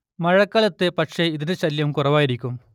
മഴക്കാലത്ത് പക്ഷേ ഇതിന്റെ ശല്യം കുറവായിരിക്കും